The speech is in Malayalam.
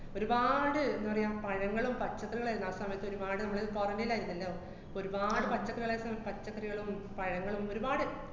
ഒരുപാട് ന്താ പറയാ, പഴങ്ങളും പച്ചക്കറികളും എല്ലാ സമയത്തും ഒരുപാട് മ്മള് quarantine ല് ആര്ന്നല്ലോ? അപ്പ ഒരുപാട് പച്ചക്കറികളൊക്കെ പച്ചക്കറികളും പഴങ്ങളും ഒരുപാട്